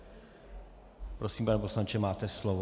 Prosím, pane poslanče, máte slovo.